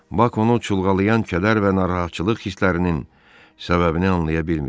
Bak onu çulğalayan kədər və narahatçılıq hisslərinin səbəbini anlaya bilmirdi.